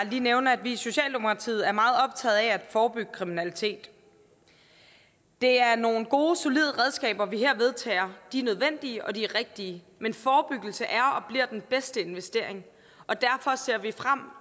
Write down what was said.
lige nævne at vi i socialdemokratiet er meget optaget af at forebygge kriminalitet det er nogle gode solide redskaber vi her vedtager de er nødvendige og de er rigtige men forebyggelse er og bliver den bedste investering og derfor ser vi frem